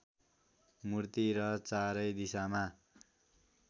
मूर्ति र चारैदिशामा